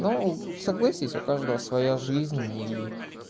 ну согласись у каждого своя жизнь ии